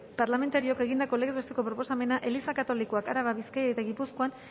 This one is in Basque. parlamentarioak egindako legez besteko proposamena eliza katolikoak araba bizkaia eta gipuzkoan